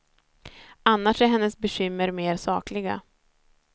Annars är hennes bekymmer mera sakliga.